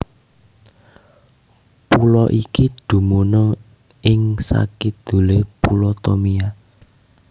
Pulo iki dumunung ing sakidulé Pulo Tomia